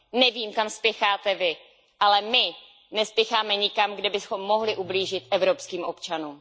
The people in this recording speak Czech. Nevím, kam spěcháte vy, ale my nespěcháme nikam, kde bychom mohli ublížit evropských občanům.